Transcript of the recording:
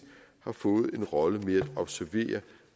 har fået en rolle med at observere